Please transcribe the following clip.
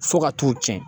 Fo ka t'u tiɲɛ